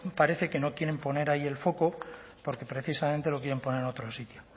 parece que no quieren poner ahí el foco porque precisamente lo quieren poner en otro sitio